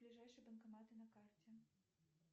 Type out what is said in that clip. ближайшие банкоматы на карте